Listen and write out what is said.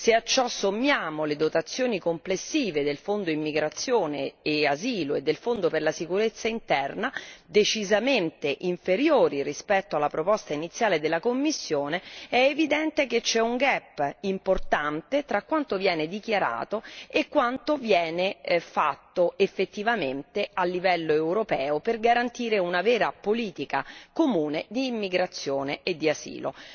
Se a ciò sommiamo le dotazioni complessive del Fondo immigrazione e asilo e del Fondo per la sicurezza interna, decisamente inferiori rispetto alla proposta iniziale della Commissione, è evidente che c'è un gap importante fra quanto viene dichiarato e quanto viene effettivamente attuato a livello europeo per garantire un'autentica politica comune di immigrazione e asilo.